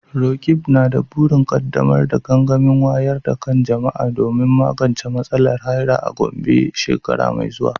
Roqeeb na da burin kaddamar da gangamin wayar da kan jama’a domin magance matsalar haila a Gombe shekara mai zuwa.